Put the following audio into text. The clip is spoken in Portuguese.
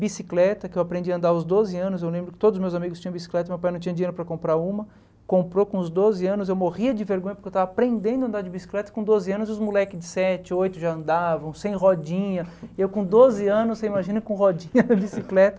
Bicicleta, que eu aprendi a andar aos doze anos, eu lembro que todos os meus amigos tinham bicicleta, meu pai não tinha dinheiro para comprar uma, comprou com os doze anos, eu morria de vergonha porque eu estava aprendendo a andar de bicicleta, com doze anos os moleques de sete, oito já andavam, sem rodinha, eu com doze anos, você imagina com rodinha na bicicleta.